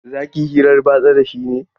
Za ki yi hirar batsa da shi ne?